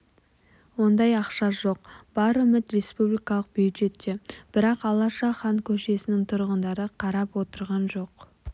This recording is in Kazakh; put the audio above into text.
ондай ақша жоқ бар үміт республикалық бюджетте бірақ алаша хан көшесінің тұрғындары қарап отырған жоқ